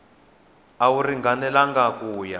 a wu ringanelangi ku ya